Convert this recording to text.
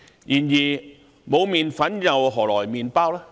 然而，沒有麵粉，何來麵包？